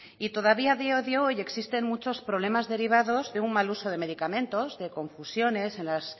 todavía a día de hoy existen muchos problemas derivados de un mal uso de medicamentos de confusiones en las